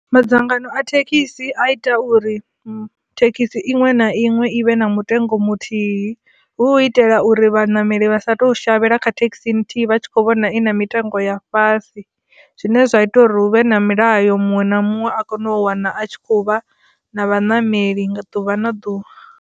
Madzangano a thekhisi a ita uri thekhisi iṅwe na iṅwe i vhe na mutengo muthihi hu itela uri vhanameli vha sa tu shavhela kha thekhisi nthihi vha tshi kho vhona i na mitengo ya fhasi zwine zwa ita uri hu vhe na milayo muṅwe na muṅwe a kone u wana a tshi khou vha na vhanameli nga ḓuvha na ḓuvha.